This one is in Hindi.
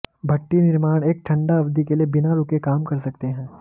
भट्ठी निर्माण एक ठंडा अवधि के लिए बिना रुके काम कर सकते हैं